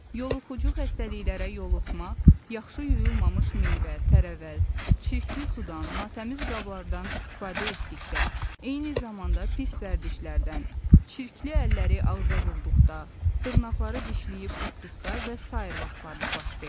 Yoluxucu xəstəliklərə yoluxma, yaxşı yuyulmamış meyvə, tərəvəz, çirkli sudan, natəmiz qablardan istifadə etdikdə, eyni zamanda pis vərdişlərdən, çirkli əlləri ağza vurduqda, dırnaqları dişləyib utduqda və sair vaxtlarda baş verir.